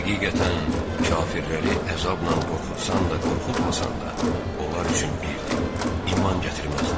Həqiqətən, kafirləri əzabla qorxutsan da, qorxutmasan da, onlar üçün birdir, iman gətirməzlər.